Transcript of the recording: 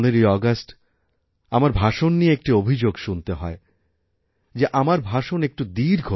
১৫ই আগস্ট আমার ভাষণ নিয়ে একটি অভিযোগ শুনতে হয় যে আমার ভাষণ একটু